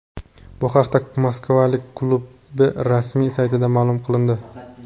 Bu haqda moskvaliklar klubi rasmiy saytida ma’lum qilindi .